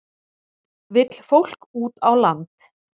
Vill fólk út á land